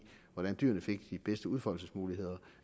hvordan dyrene fik de bedste udfoldelsesmuligheder